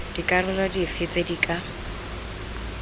dikarolo dife tse di ka